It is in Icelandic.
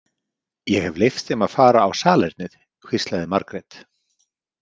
Ég hef leyft þeim að fara á salernið, hvíslaði Margrét.